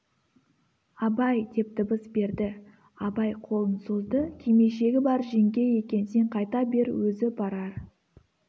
абай деп дыбыс берді абай қолын созды кимешегі бар жеңге екен сен қайта бер өзі барар